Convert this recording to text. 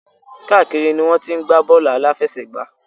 Káàkiri ni wọ́n ti ń gbá bọ́ọ̀lù àláfẹsẹ̀gbá.